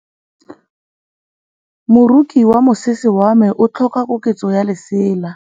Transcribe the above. Moroki wa mosese wa me o tlhoka koketsô ya lesela.